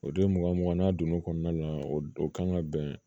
O don mugan mugan n'a donn'o kɔnɔna na o don o kan ka bɛn